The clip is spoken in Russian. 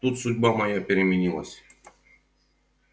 тут судьба моя переменилась